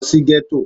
Lo sí Gétò